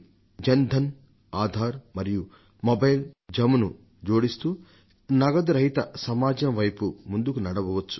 జన్ ధన్ ఆధార్ మరియు మొబైల్ JAMను జోడిస్తూ క్యాష్లెస్ సొసైటీ వైపు ముందుకు నడవవచ్చు